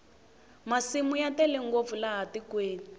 masimu ya tele ngopfu laha tikweni